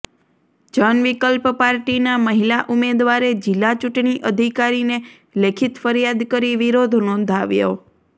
જન વિકલ્પ પાર્ટીના મહિલા ઉમેદવારે જિલ્લા ચૂંટણી અધિકારીને લેખિત ફરિયાદ કરી વિરોધ નોંધાવ્યો